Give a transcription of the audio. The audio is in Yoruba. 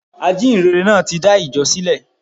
Ajíhìnrere náà tí dá ìjọ sílè